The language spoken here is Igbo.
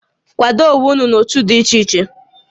Kwado onwé ụnụ n'ótú ụnụ dị ichè ichè!